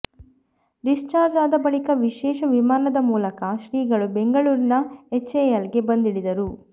discharge ಆದ ಬಳಿಕ ವಿಶೇಷ ವಿಮಾನದ ಮೂಲಕ ಶ್ರೀಗಳು ಬೆಂಗಳೂರಿನ ಎಚ್ಎಎಲ್ಗೆ ಬಂದಿಳಿದರು